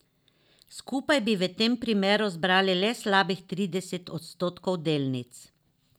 Skupaj bi v tem primeru zbrali le slabih trideset odstotkov delnic.